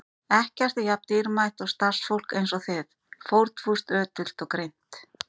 Ekkert er jafn dýrmætt og starfsfólk eins og þið: fórnfúst, ötult og greint.